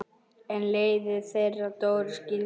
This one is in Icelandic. En leiðir þeirra Dóru skildu.